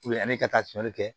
ani ka taa fiyɛnli kɛ